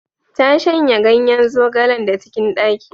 Ta shanya ganyen zogalen da cikin ɗaki.